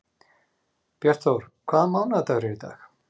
Bjartþór, hvaða mánaðardagur er í dag?